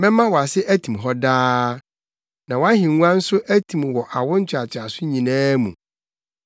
‘Mɛma wʼase atim hɔ daa na wʼahengua nso atim wɔ awo ntoantoaso nyinaa mu.’ ”